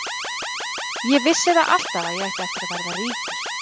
Ég vissi það alltaf að ég ætti eftir að verða ríkur.